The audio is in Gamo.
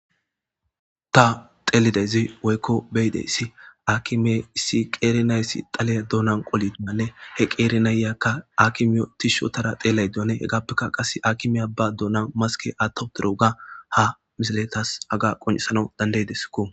Ta xeelidezi woykko beyideyssi akime issi qeerinayssi xaleya doonan qolidimanne he qeeri nayyakka akimiyo tishshotara xeelay duane hegaappekka qase akimiya ba doonan maske attoperoga ha misiletas aga qoncisana dandaydeskko.